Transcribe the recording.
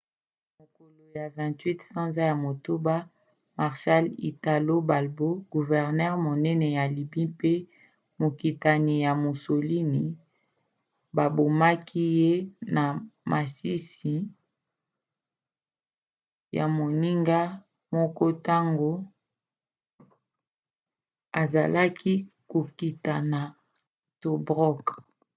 na mokolo ya 28 sanza ya motoba marshal italo balbo guvernere monene ya lybie mpe mokitani ya mussolini babomaki ye na masisi ya moninga moko ntango azalaki kokita na tobruk